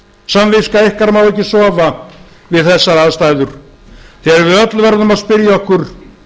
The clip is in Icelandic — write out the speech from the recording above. samviska ykkar má ekki sofa við þessar aðstæður þegar við öll verðum að spyrja okkur